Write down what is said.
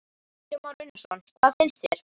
Kristján Már Unnarsson: Hvað finnst þér?